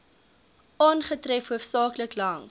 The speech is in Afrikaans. aangetref hoofsaaklik langs